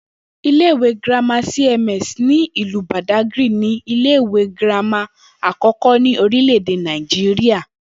Ilé ìwé girama cms ní ìlú Bàdágìrì ni ilé ìwé girama àkó̩kó̩ ní orílè̩-èdè Nàìjíríà